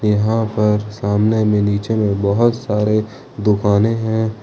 यहां पर सामने में नीचे में बहुत सारे दुकानें हैं।